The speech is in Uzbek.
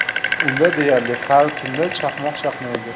Unda deyarli har tunda chaqmoq chaqnaydi.